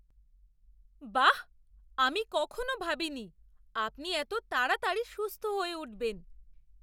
বাঃ! আমি কখনও ভাবিনি আপনি এত তাড়াতাড়ি সুস্থ হয়ে উঠবেন।